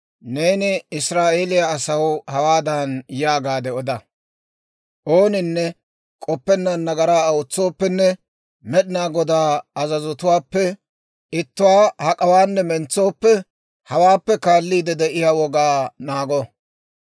«Neeni Israa'eeliyaa asaw hawaadan yaagaade oda; ‹Ooninne k'oppennaan nagaraa ootsooppenne, Med'inaa Godaa azazotuwaappe ittuwaa hak'awaanne mentsooppe, hawaappe kaalliide de'iyaa wogaa naago.